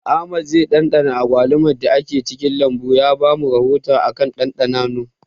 Ahmad zai ɗanɗana agwaluman da ke cikin lambun ya ba mu rahoto akan ɗanɗanon